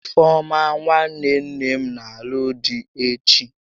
Ifeọma nwanne nne m n'alụ di echi